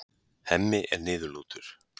Hemmi er niðurlútur.